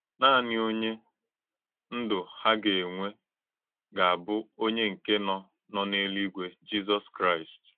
Nànì Ònyé Ndụ́ hà gà-ènwè gà-ábụ̀ ònyé nkè nọ nọ n’èlú-ígwé — Jìzọ́s Kráìst.